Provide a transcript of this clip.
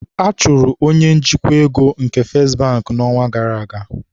A chụrụ onye njikwa ego nke Festị Bank n'ọnwa gara aga.